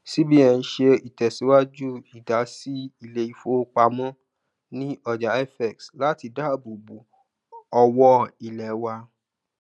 cbn ṣe ìtẹsiwaju idasi ilé ifowopamọ ní ọjà fx láti daabobo ọwọ ilé wa